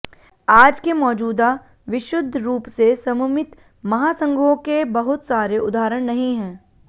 आज के मौजूदा विशुद्ध रूप से सममित महासंघों के बहुत सारे उदाहरण नहीं हैं